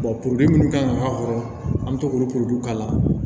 minnu kan ka k'a kɔrɔ an bɛ to k'olu k'a la